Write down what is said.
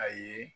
A ye